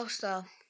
af stað.